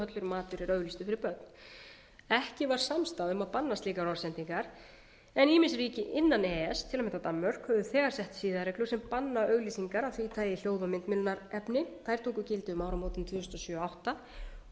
matur er auglýstur fyrir börn ekki var samstaða um að banna slíkar orðsendingar en ýmis ríki innan e e s til að mynda danmörk hafa þegar sett siðareglur sem banna auglýsingar af því tagi hljóð og myndmiðlunarefni þær tóku gildi um áramótin tvö þúsund og sjö tvö þúsund og átta og